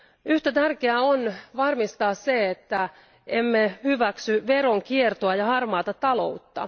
Yhtä tärkeää on varmistaa, että emme hyväksy veronkiertoa ja harmaata taloutta.